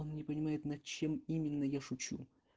он не понимает над чем именно я шучу